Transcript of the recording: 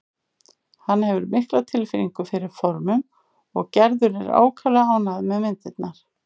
Hann hefur mikla tilfinningu fyrir formum og Gerður er ákaflega ánægð með myndirnar.